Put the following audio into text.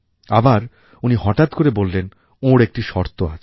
আবার উনি হঠাৎ করে বললেন ওঁর একটি শর্ত আছে